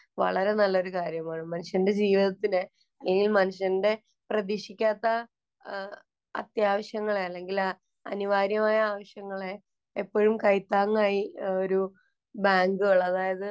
വളരെ നല്ല ഒരു കാര്യമാണ്. മനുഷ്യന്‍റെ ജീവിതത്തില് ഇല്ലെങ്കിൽ മനുഷ്യന്‍റെ പ്രതീക്ഷിക്കാത്ത അത്യാവശ്യങ്ങളെ അല്ലെങ്കില്‍ അനിവാര്യമായ ആവശ്യങ്ങളെ എപ്പഴും കൈത്താങ്ങായി ഒരു ബാങ്കുകള്‍ അതായത്.